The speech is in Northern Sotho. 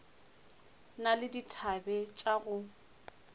na le dithabe tša go